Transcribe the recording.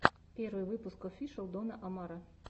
первый выпуск офишел дона омара